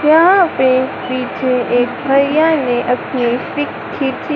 यहां पे पीछे एक भैया ने अपनी पिक खींची--